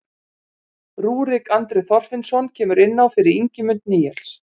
Rúrik Andri Þorfinnsson kemur inn á fyrir Ingimund Níels.